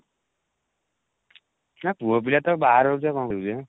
ହଁ ପୁଅ ପିଲା ତ ବାହାରେ ରହୁଛୁ ଆଉ କଣ କରିବୁ ଯେ